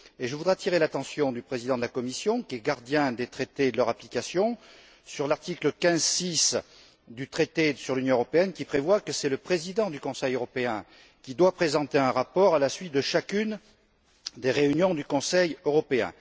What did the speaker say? À ce sujet, je voudrais attirer l'attention du président de la Commission qui est la gardienne des Traités et de leur application, sur l'article 15, paragraphe 6, du traité sur l'Union européenne, qui prévoit que c'est le président du Conseil européen qui doit présenter un rapport à la suite de chacune des réunions du Conseil européen.